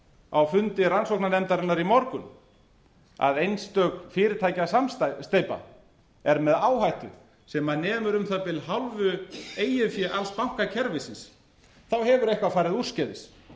á fundi rannsóknarnefndarinnar í morgun að einstök fyrirtækjasamsteypa er með áhættu sem nemur um það bil hálfu eigin fé alls bankakerfisins hefur eitthvað farið úrskeiðis